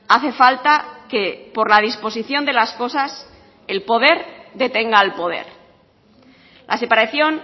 hace falta que por la disposición de las cosas el poder detenga al poder la separación